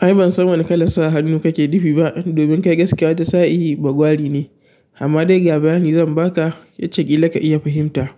Ai ban san wane kalar sa hannu kake nufi ba, domin kai gaskiya wani sa'i bagwari ne. Amma dai ga bayani zan baka yacca ƙila ka iya fahimta